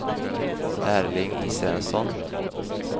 Erling Israelsson